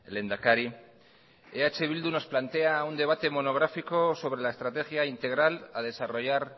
lehendakari eh bildu nos plantea un debate monográfico sobre la estrategia integral a desarrollar